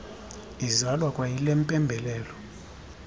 izalwa kwayile mpembelelo